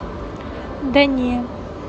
да не